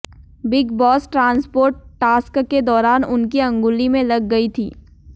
big Boss transport task के दौरान उनकी अंगुली में लग गई थी